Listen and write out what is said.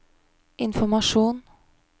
informasjon